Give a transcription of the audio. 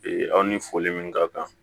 aw ni foli min ka kan